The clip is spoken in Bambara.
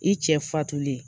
I cɛ fatulen